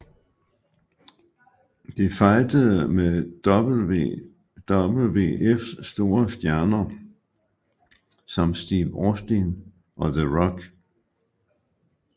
De fejdede med WWFs store stjerner som Steve Austin og The Rock